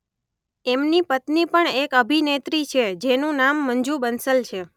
એમની પત્ની પણ એક અભિનેત્રી છે જેનું નામ મંજુ બંસલ છે.